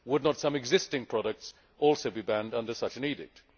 Would not some existing products also be banned under such an edict?